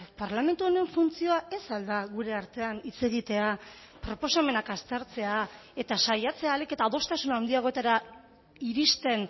parlamentu honen funtzioa ez al da gure artean hitz egitea proposamenak aztertzea eta saiatzea ahalik eta adostasun handiagotara iristen